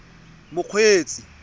mokgweetsi